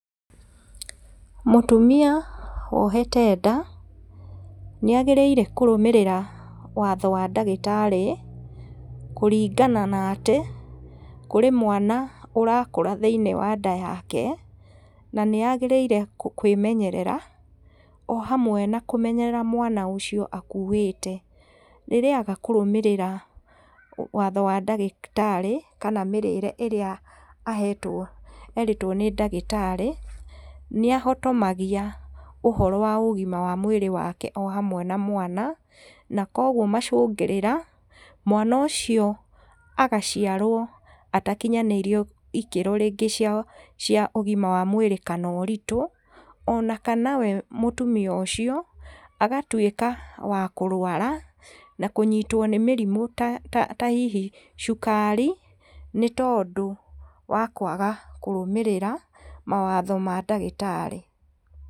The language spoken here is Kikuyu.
Mũtumia wohete nda, nĩ agĩrĩire kũrũmĩrĩra watho wa ndagĩtarĩ, kũringana na atĩ, kũrĩ mwana ũrakũra thĩiniĩ wa nda yake, na nĩ agĩrĩire kwĩmenyerera, o hamwe na kũmenyerera mwana ũcio akuĩte, rĩrĩa aga kũrũmĩrĩra watho wa ndagĩtarĩ kana mĩrĩre ĩrĩa erĩtwo nĩ ndagĩtarĩ, nĩ ahotomagia ũhoro wa ũgima wa mwĩrĩ wake o hamwe na mwana, na kwoguo macũngĩrĩra mwana ũcio agaciarwo atakinyanĩirie ikĩro rĩngĩ cia ũgima wa mwĩrĩ kana ũritũ, o na kana we mũtumia ũcio, agatuĩka wa kũrwara, na kũnyitwo nĩ mĩrimũ ta hihi cukari, nĩ tondũ wa kwaga kũrũmĩrĩra mawatho ma ndagĩtarĩ.